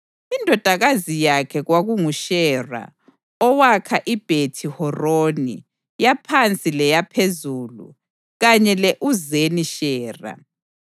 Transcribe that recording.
Indodakazi yakhe kwakunguShera owakha iBhethi-Horoni yaPhansi leyaPhezulu kanye le-Uzeni-Shera.)